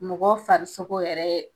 Mɔgɔ farisogo yɛrɛ